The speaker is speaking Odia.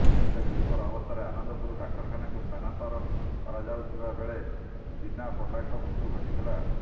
ହେଲେ ଗୁରୁତର ଅବସ୍ଥାରେ ଆନନ୍ଦପୁର ଡାକ୍ତରଖାନାକୁ ସ୍ଥାନାନ୍ତର କରାଯାଉଥିବା ବେଳେ ଚିନା ପଣ୍ଡାଙ୍କ ମୃତ୍ୟୁ ଘଟିଥିଲା